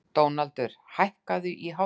Dónaldur, hækkaðu í hátalaranum.